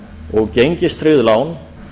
og gengistryggð lán